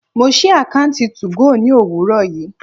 Mo sí àkọ́ùntì 2go ní òwúrọ̀ yìí.